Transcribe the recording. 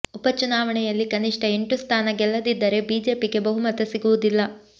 ಉಪ ಚುನಾವಣೆಯಲ್ಲಿ ಕನಿಷ್ಠ ಎಂಟು ಸ್ಥಾಾನ ಗೆಲ್ಲದಿದ್ದರೆ ಬಿಜೆಪಿಗೆ ಬಹುಮತ ಸಿಗುವುದಿಲ್ಲ